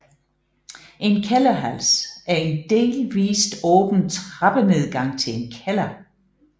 En kælderhals er en delvist åben trappenedgang til en kælder